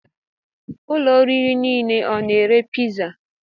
Ụlọ oriri nile ọ na-ere piza?